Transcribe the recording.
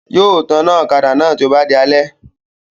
Yóò taná ọ̀kadà náà tó bá di alẹ́